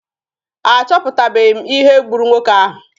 A chọpụtabeghi m ihe gburu nwoke ahụ.